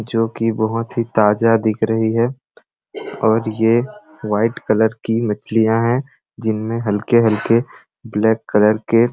जो कि बहोत ही ताजा दिख रही है और ये वाइट कलर की मछलियाँ है जिनमे हल्के-हल्के ब्लैक कलर के--